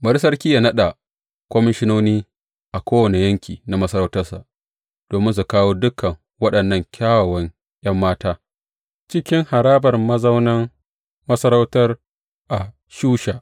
Bari sarki yă naɗa komishinoni a kowane yanki na masarautarsa, domin su kawo dukan waɗannan kyawawan ’yan mata cikin harabar mazaunin masarautar a Shusha.